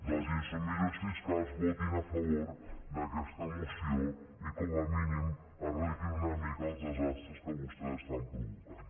dels insubmisos fiscals votin a favor d’aquesta moció i com a mínim arreglin una mica els desastres que vostès estan provocant